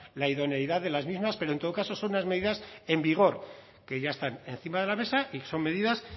la idoneidad de las mismas pero en todo caso son unas medidas en vigor que ya están encima de la mesa y son medidas